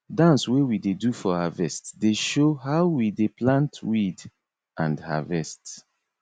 dance wey we dey do for harvest dey show how we dey plant weed and harvest